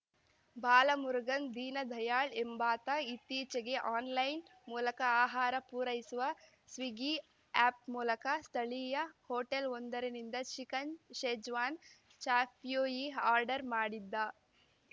ಬಾಲಮುರುಗನ್‌ ದೀನ ದಯಾಳ್‌ ಎಂಬಾತ ಇತ್ತೀಚೆಗೆ ಆನ್‌ಲೈನ್‌ ಮೂಲಕ ಆಹಾರ ಪೂರೈಸುವ ಸ್ವಿಗ್ಗಿ ಆ್ಯಪ್‌ನ ಮೂಲಕ ಸ್ಥಳೀಯ ಹೋಟೆಲ್‌ವೊಂದರಿಂದ ಚಿಕನ್‌ ಶೆಜ್ವಾನ್‌ ಚಾಪ್ಯೂಯಿ ಆರ್ಡರ್‌ ಮಾಡಿದ್ದ